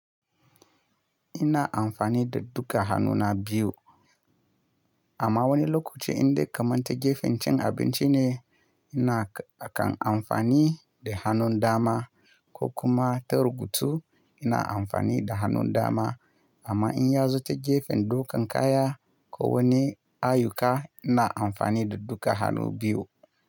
Ina amfani da duka hannuna biyu. Amma wani lokaci inda kamar ta gefen cin abinci ne, ina kan amfani da hannun dama, ko kuma ta rubutu ina amfani da hannun dama. Amma in ya zo ta gefen ɗaukan kaya ko wani ayuka ina amfani da duka hannu biyu.